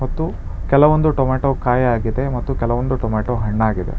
ಮತ್ತು ಕೆಲವೊಂದು ಟೊಮ್ಯಾಟೋ ಕಾಯಾಗಿದೆ ಮತ್ತೆ ಕೆಲವೊಂದು ಟೊಮ್ಯಾಟೋ ಹಣ್ಣಾಗಿದೆ.